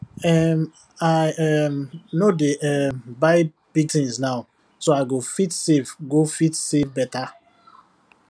um i um no dey um buy big things now so i go fit save go fit save better